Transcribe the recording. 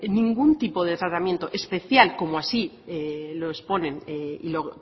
ningún tipo de tratamiento especial como así o